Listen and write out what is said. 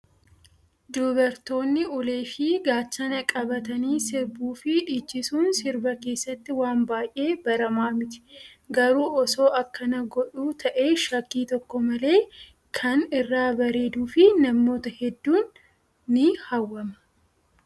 Dubartoonni ulee fi gaachana qabatanii sirbuu fi dhiichisuun sirba keessatti waan baay'ee baramaa miti. Garuu osoo akkana godhu ta'ee shakkii tokko malee kan irraa bareeduu fi namoota hedduun ni hawwama.